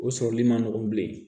O sɔrɔli ma nɔgɔn bilen